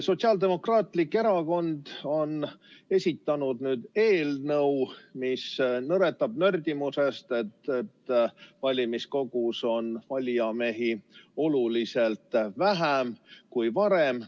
Sotsiaaldemokraatlik Erakond on esitanud eelnõu, mis nõretab nördimusest, et valimiskogus on valijamehi oluliselt vähem kui varem.